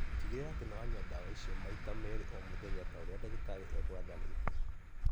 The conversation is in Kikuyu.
Tĩgĩrĩra atĩ nĩ wa nyua ndawa icio maita merĩ o mũthenya ta ũrĩa ndagĩtarĩ aku aathanĩte